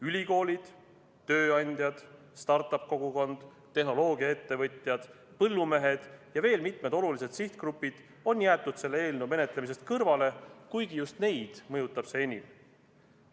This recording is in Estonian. Ülikoolid, tööandjad, start-up-kogukond, tehnoloogiaettevõtjad, põllumehed ja veel mitmed olulised sihtgrupid on jäetud selle eelnõu menetlemisest kõrvale, kuigi just neid mõjutab see enim.